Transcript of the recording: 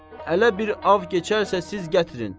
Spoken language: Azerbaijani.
Hələ bir av keçərsə siz gətirin!